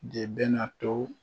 De bɛ na to